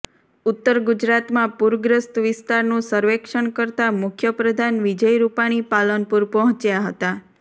ઉત્તરગુજરાતમાં પૂરગ્રસ્ત વિસ્તારનું સર્વેક્ષણ કરતા મુખ્યપ્રધાન વિજય રૂપાણી પાલનપુર પહોંચ્યા હતા